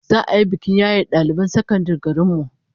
Za'a yi bikin yaye daliban sakandaren garin mu